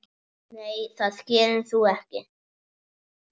Nei það gerir þú ekki.